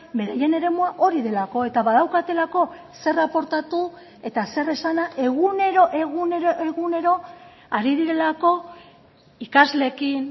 beraien eremua hori delako eta badaukatelako zer aportatu eta zer esana egunero egunero egunero ari direlako ikasleekin